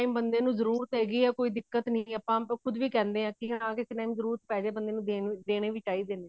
ਬੰਦੇ ਨੂੰ ਜਰੂਰਤ ਹੈਗੀ ਆ ਕੋਈ ਦਿੱਕਤ ਨੀ ਹੈਗੀ ਆਪਾਂ ਕੁਝ ਵੀ ਕਹਿਨੇ ਹਾਂ ਵੀ ਹਾਂ ਕਿਸੇ time ਜਰੂਰਤ ਪੇਜੇ ਬੰਦੇ ਨੂੰ ਦੇਣੇ ਦੇਣੇ ਵੀ ਚਾਹੀਦੇ ਨੇ